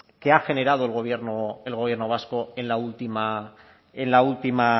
que ha generado el gobierno vasco en la última